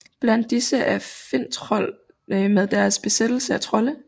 Blandt disse er Finntroll med deres besættelse af trolde